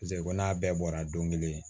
Paseke ko n'a bɛɛ bɔra don kelen